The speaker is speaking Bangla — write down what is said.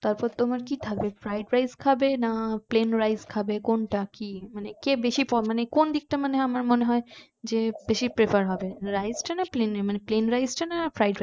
তারপর তোমার কি খাবে fried rice খাবে নাকি plane rice খাবে কোনটা কি মানে কে বেশি মানে কোন দিকটা মানে আমার মনে হয় যে বেশি prefer হবে rice তা না plane rice টা না fried rice